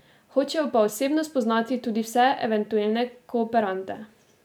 Hočejo pa osebno spoznati tudi vse eventuelne kooperante.